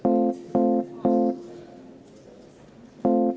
Palun võtke seisukoht ja hääletage!